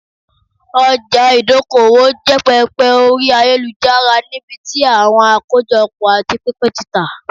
ọjà ìdókoòwò jẹ pẹpẹ ori ayelujara nibiti awọn akojopo ati pinpin ti ta